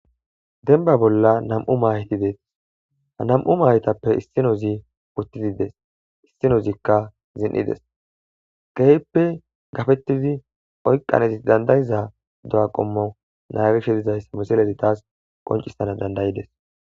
denba bolla nam7u mayyti deetes nam7u mayytappe issinozi uttidides issinozikka zin7ides gehppe gafettidi oyqanezi dandayiza do7a qommo naagishe dizayssa misilezi taas qoncisana dandayides